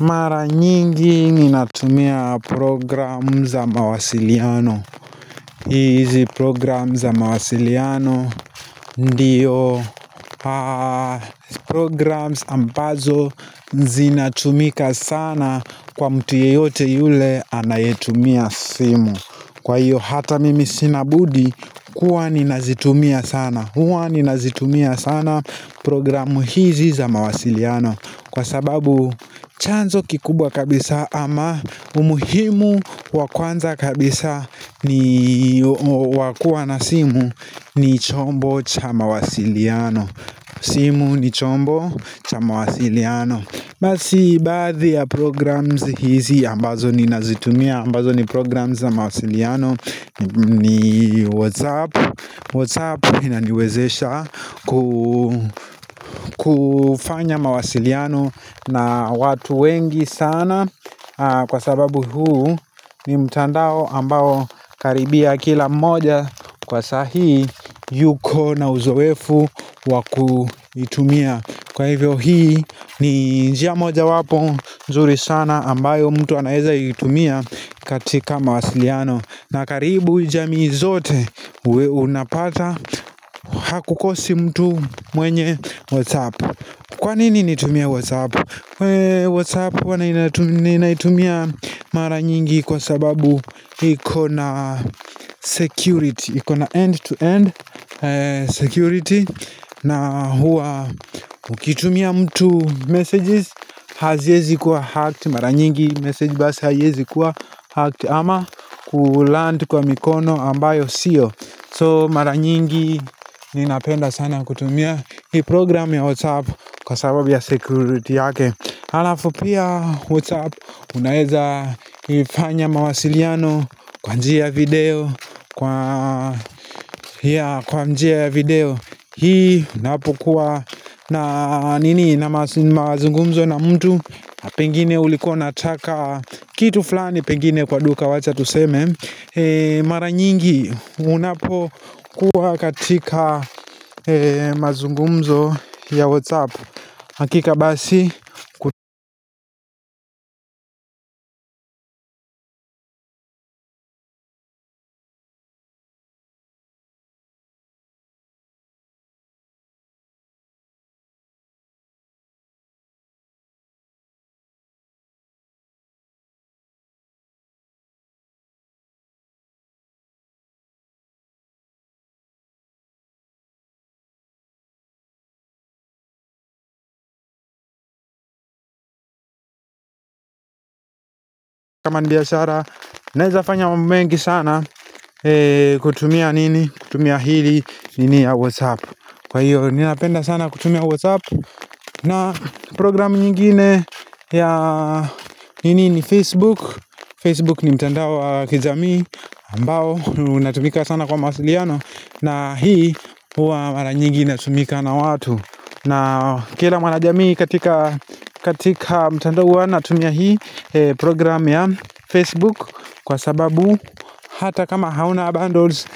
Mara nyingi ninatumia programu za mawasiliano. Hizi programu za mawasiliano ndiyo programs ambazo zinatumika sana kwa mtu yeyote yule anayetumia simu. Kwa hiyo hata mimi sinabudi kuwa ninazitumia sana. Huwa ninazitumia sana programu hizi za mawasiliano. Kwa sababu chanzo kikubwa kabisa ama umuhimu wakwanza kabisa ni kwa kuwa na simu ni chombo cha mawasiliano simu ni chombo cha mawasiliano basi baadhi ya programs hizi ambazo ni nazitumia ambazo ni programs na mawasiliano ni WhatsApp WhatsApp inaniwezesha kufanya mawasiliano na watu wengi sana Kwa sababu huu ni mtandao ambayo karibia kila moja Kwa sahi yuko na uzowefu waku itumia Kwa hivyo hii ni njia moja wapo nzuri sana ambayo mtu anaeza itumia katika mawasiliano na karibu jamii zote uwe unapata hakukosi mtu mwenye Whatsapp Kwa nini nitumie Whatsapp? Wee Whatsapp huwa ninaitumia mara nyingi kwa sababu ikona security ikona end to end security na huwa ukitumia mtu messages haziezi kuwa hacked mara nyingi message basi haiezi kuwa hacked ama kuland kwa mikono ambayo siyo So mara nyingi ninapenda sana kutumia Hii program ya WhatsApp kwa sababu ya security yake Halafu pia WhatsApp unaeza ifanya mawasiliano kwa njia ya video Kwa njia ya video Hii inapokuwa na nini na mazungumzo na mtu na Pengine ulikua unataka kitu flani pengine kwa duka wacha tuseme Mara nyingi unapo kuwa katika mazungumzo ya Whatsapp hakika basi mabiashara Naeza fanya mambo mengi sana kutumia nini kutumia hili nini ya Whatsapp Kwa hiyo ninapenda sana kutumia Whatsapp na program nyingine ya nini ni Facebook Facebook ni mtandao wa kijamii ambao unatumika sana kwa mawasiliano na hii huwa mara nyingi inatumika na watu na kila mwanajamii katika mtandao hua anatumia hii program ya Facebook Kwa sababu hata kama hauna bundles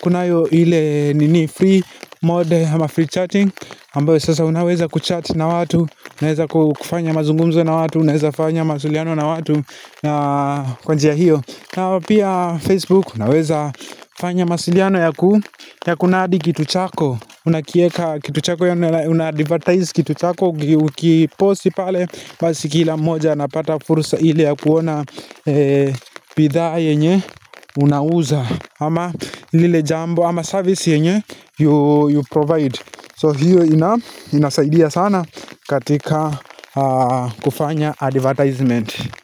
Kunayo ile nini free mode sma free chatting ambao sasa unaweza kuchat na watu unaweza kufanya mazungumzo na watu unaweza fanya mawasiliano na watu na kwa njia hiyo na pia Facebook unaweza fanya masiliano ya kunadi kitu chako unakieka kitu chako yani unadivertize kitu chako ukipost pale basi kila mmoja anapata fursa ili ya kuona bidhaa yenye unauza ama lile jambo ama service yenye you provide so hiyo inasaidia sana katika kufanya advertisement.